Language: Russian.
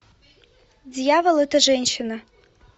дьявол это женщина